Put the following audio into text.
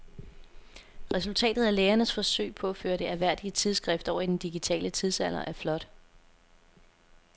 Resultatet af lægernes forsøg på at føre det ærværdige tidsskrift over i den digitale tidsalder er flot.